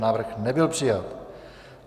Návrh nebyl přijat.